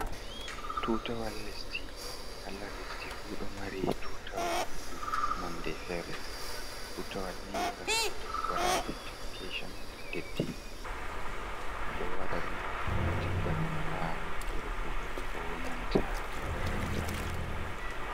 Tutawal lesdi, kala lesdi fuu ɗo mari tutawal nonde fere, tutawal ni gam waɗa identifikashoon deddi, ɗo wada dum tikga ɗum ha nokuure kuugal, konanta makaranta.